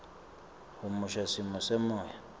humusha simo semoya